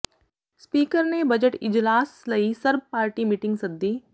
speaker ਨੇ budget ਇਜਲਾਸ ਲਈ ਸਰਬ ਪਾਰਟੀ ਮੀਟਿੰਗ ਸੱਦੀ